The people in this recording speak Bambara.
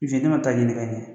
ma ta'a ɲini ka ɲɛ